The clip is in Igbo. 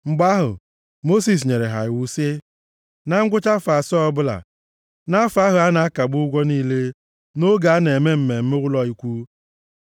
Mgbe ahụ, Mosis nyere ha iwu sị, “Na ngwụcha afọ asaa ọbụla, nʼafọ ahụ a na-akagbu ụgwọ niile, nʼoge a na-eme Mmemme ụlọ Ikwu,